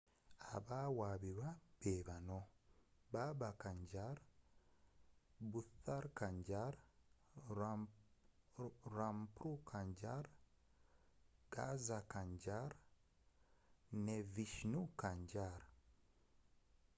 abawabirwa beebano baba kanjar bhutha kanjar rampro kanjar gaza kanjar ne vishnu kanjar